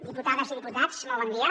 diputades i diputats molt bon dia